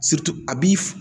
a b'i f